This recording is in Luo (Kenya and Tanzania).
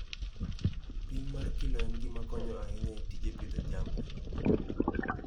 Pim mar kilo en gima konyo ahinya e tij pidho jamni.